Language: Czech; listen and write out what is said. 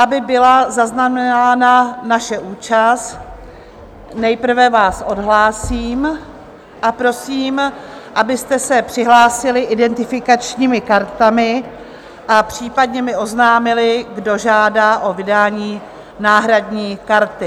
Aby byla zaznamenána naše účast, nejprve vás odhlásím a prosím, abyste se přihlásili identifikačními kartami a případně mi oznámili, kdo žádá o vydání náhradní karty.